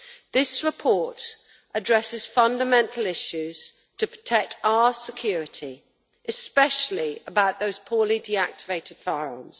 This report addresses fundamental issues to protect our security, especially about those poorly deactivated firearms.